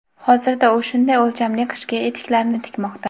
Hozirda u shunday o‘lchamli qishki etiklarni tikmoqda.